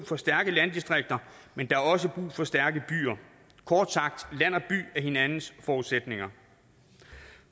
for stærke landdistrikter men der er også brug for stærke byer kort sagt land og by er hinandens forudsætninger